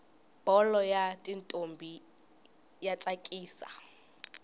bholo yatintombi yatsakisa